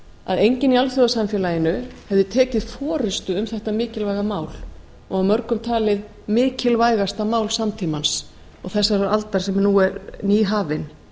að enginn í alþjóðasamfélaginu hefði tekið forustu um þetta mikilvæga mál og af mörgum talið mikilvægasta mál samtímans og þessarar aldar sem nú er nýhafin